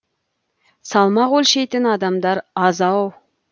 салмақ өлшейтін адамдар аз ау